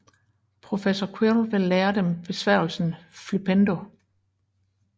Professor Quirrel vil lære dem besværgelsen Flippendo